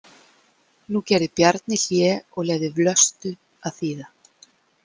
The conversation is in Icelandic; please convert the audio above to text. Nú gerði Bjarni hlé og leyfði Vlöstu að þýða.